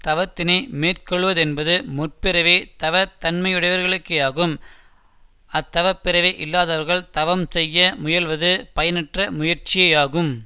தவத்தினை மேற்கொள்ளுவதென்பது முற்பிறவித தவத் தன்மையுடையவர்களுக்கேயாகும் அத்தவப் பிறவி இல்லாதவர்கள் தவம் செய்ய முயல்வது பயனற்ற முயற்சியேயாகும்